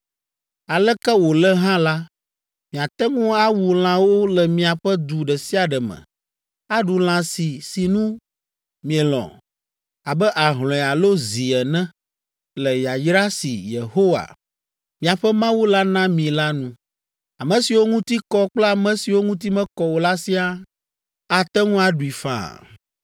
Aleke wòle hã la, miate ŋu awu lãwo le miaƒe du ɖe sia ɖe me, aɖu lã si sinu mielɔ̃, abe ahlɔ̃e alo zi ene, le yayra si Yehowa, miaƒe Mawu la na mi la nu. Ame siwo ŋuti kɔ kple ame siwo ŋuti mekɔ o la siaa ate ŋu aɖui faa.